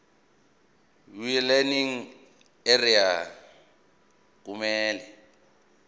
welearning area kumele